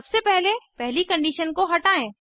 सबसे पहले पहली कंडीशन को हटायें